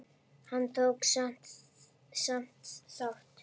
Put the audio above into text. Hann tók samt þátt.